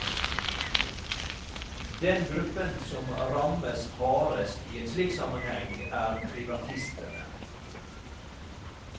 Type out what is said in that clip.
Den gruppen som rammes hardest i en slik sammenheng er privatistene.